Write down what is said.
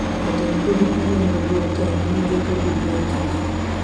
Jatend piny oriembo jotend migepe duto e tich